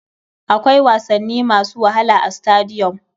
Akwai wasanni masu wahala a stadiyom.